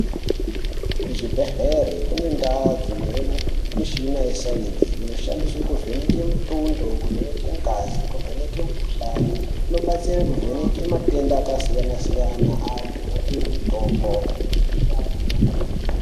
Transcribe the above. Kuzvibhedhlera kune ndau dzinouya mishina yesainzi dzinoshandiswa kuvheneka mutundo kuvheneka ngazi nekuvheneka mukuhlani inoshandisa kuvheneka matenda akasiyana-siyana vantu vopuwa mutombo.